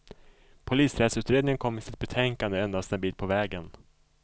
Polisrättsutredningen kom i sitt betänkande endast en bit på vägen.